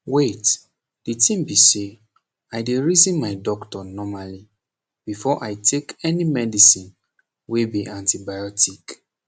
wait the tin be say i dey reason my doctor normally before take any medicine wey be antibiotic